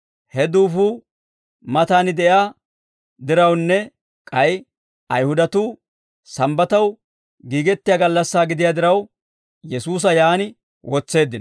He duufuu matan de'iyaa dirawunne k'ay Ayihudatuu Sambbataw giigettiyaa gallassaa gidiyaa diraw, Yesuusa yaan wotseeddino.